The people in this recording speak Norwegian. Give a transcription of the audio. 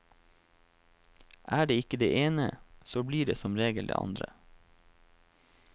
Er det ikke det ene, så blir det som regel det andre.